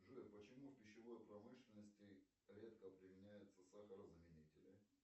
джой почему в пищевой промышленности редко применяются сахарозаменители